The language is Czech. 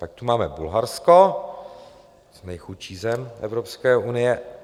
Pak tu máme Bulharsko, nejchudší zem Evropské unie.